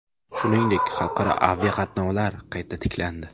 Shuningdek, xalqaro aviqatnovlar qayta tiklandi .